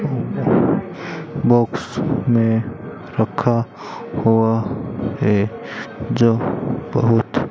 box में रखा हुआ है जो बहुत --